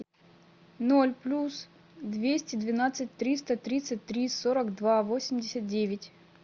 ноль плюс двести двенадцать триста тридцать три сорок два восемьдесят девять